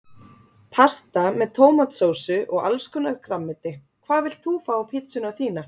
Pasta með tómatsósu og allskonar grænmeti Hvað vilt þú fá á pizzuna þína?